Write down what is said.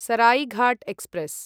Saraighat express